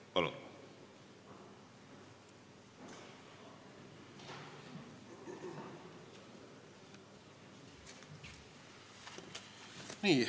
Palun!